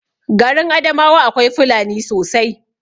Garin adamawa akwai fulani sosai